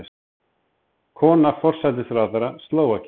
Kona forsætisráðherra Slóvakíu